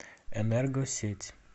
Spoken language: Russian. энергосеть